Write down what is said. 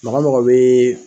Mɔgɔ mɔgɔ be